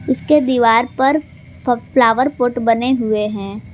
इसके दीवार पर फ्लावर पॉट बने हुए हैं।